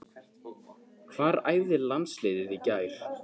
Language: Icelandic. Hvar æfði landsliðið í gær?